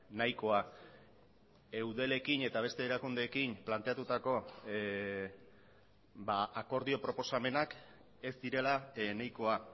nahikoa eudelekin eta beste erakundeekin planteatutako akordio proposamenak ez direla nahikoa